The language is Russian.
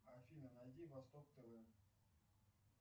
афина найди восток тв